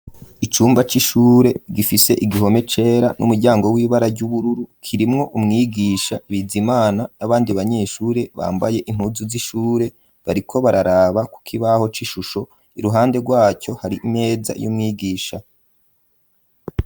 icumba c'ishure gifise igihome cera, n'umuryango w'ibara ry'ubururu, kirimwo umwigisha Bizimana, n'abandi banyeshure bambaye impuzu z'ishure, bariko bararaba ku kibaho c'ishusho, iruhande rwaco hari imeza y'umwigisha.